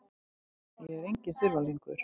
Ég er enginn þurfalingur.